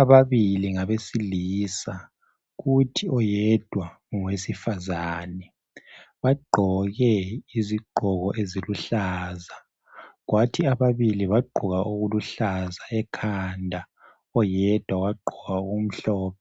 Ababili ngabesilisa kuthi oyedwa ngowesifazane. Bagqoke izigqoko eziluhlaza, kwathi ababili bagqoka okuluhlaza ekhanda, oyedwa wagqoka okumhlophe.